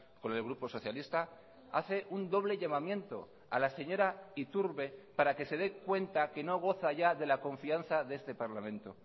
con el grupo socialista hace un doble llamamiento a la señora iturbe para que se de cuenta que no goza ya de la confianza de este parlamento